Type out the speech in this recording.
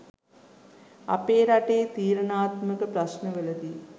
අපේ රටේ තීරණාත්මක ප්‍රශ්නවලදී